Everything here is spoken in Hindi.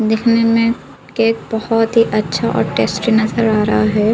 दिखने में केक बहोत ही अच्छा और टेस्टी नजर आ रहा है।